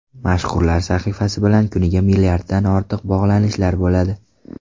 Mashhurlar sahifasi bilan kuniga milliarddan ortiq bog‘lanishlar bo‘ladi.